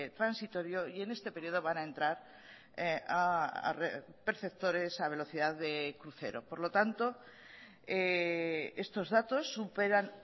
transitorio y en este periodo van a entrar perceptores a velocidad de crucero por lo tanto estos datos superan